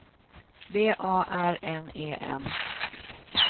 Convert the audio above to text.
B A R N E N